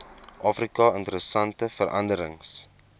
afrika interessante veranderings